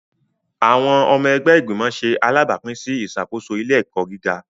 Awọn ọmọ ẹgbẹ́ igbimọ ṣe alabapin sí ìṣàkóso ilé-ẹkọ gíga